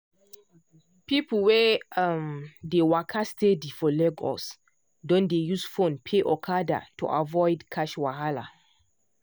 people wey um dey waka steady for lagos don dey use phone pay okada to avoid cash wahala.